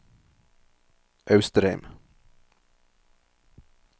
Austrheim